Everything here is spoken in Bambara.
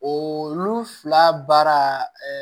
O olu fila baara